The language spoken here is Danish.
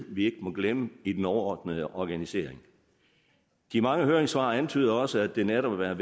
vi ikke må glemme i den overordnede organisering de mange høringssvar antyder også at det netop er